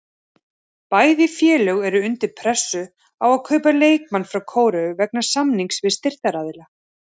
Bæði félög eru undir pressu á að kaupa leikmann frá Kóreu vegna samninga við styrktaraðila.